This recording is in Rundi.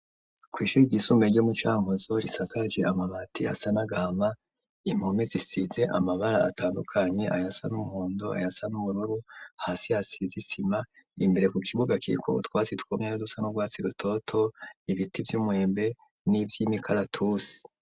Kw'ishure ryisumbe ryo mu Cankuzo, risakaje amabati asa n'agahama, impume zisize amabara atandukanye ayasa n'umuhondo ayasa n'ubururu, hasi hasize isima, imbere ku kibuga kiriko utwasi twumye n'udusa n'urwatsi rutoto, ibiti vy'umwembe n'ivy'imikaratusi.